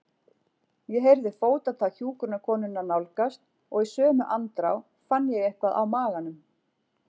Ég heyrði fótatak hjúkrunarkonunnar nálgast og í sömu andrá fann ég eitthvað á maganum.